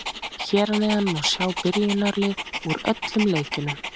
Hér að neðan má sjá byrjunarliðin úr öllum leikjunum.